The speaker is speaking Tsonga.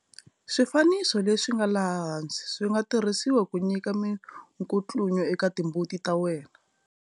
Swifanso leswi nga laha hansi swi nga tirhisiwa ku nyika minkutlunyo eka timbuti ta wena.